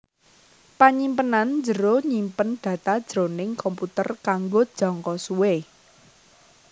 Panyimpenan njero nyimpen data jroning komputer kanggo jangka suwé